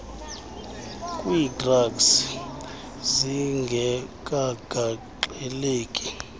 kwii drugs zingekagaxeleki